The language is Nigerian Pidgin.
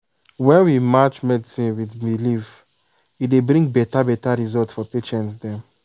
when we match medicine with belief e dey bring beta beta result for patient dem.